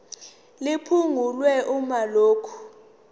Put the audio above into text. liphungulwe uma lokhu